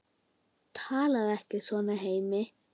Talaðu ekki svona, Hemmi!